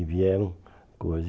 E vieram coisa